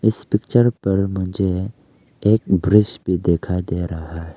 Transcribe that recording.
इस पिक्चर पर मुझे एक ब्रिज भी दिखाई दे रहा है।